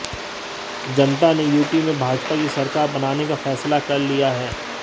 जनता ने यूपी में भाजपा की सरकार बनाने का फैसला कर लिया है